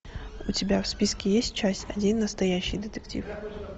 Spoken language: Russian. у тебя в списке есть часть один настоящий детектив